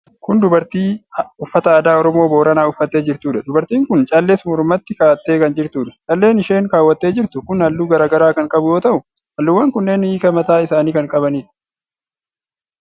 Kun dubartii uffata aadaa Oromooo Booranaa uffattee jirtuudha. Dubartiin kun callees mormatti kaa'attee kan jirtuudha. Calleen isheen kaawwattee jirtu kun halluu garaa garaa kan qabu yoo ta'u, halluuwwan kunneen hiika mataa isaanii kan qabanidha.